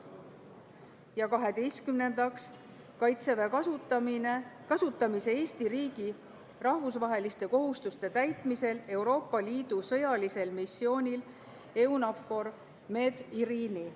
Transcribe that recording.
Ja kaheteistkümnendaks, Kaitseväe kasutamine Eesti riigi rahvusvaheliste kohustuste täitmisel Euroopa Liidu sõjalisel missioonil EUNAVFOR Med/Irini.